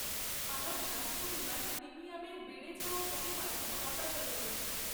আমার স্বাস্থ্য বীমার প্রিমিয়ামের বেড়ে যাওয়া পরিমাণটা হতাশাজনক।